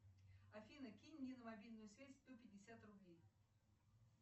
афина кинь мне на мобильную связь сто пятьдесят рублей